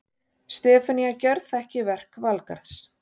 Stefanía gjörþekki verk Valgarðs.